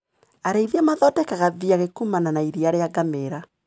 Arĩithia mathondekaga thiagi kumana na iria ria ngamĩra.